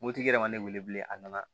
Mopti yɛrɛ ma ne wele bilen a nana